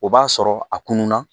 O b'a sɔrɔ a kunnuna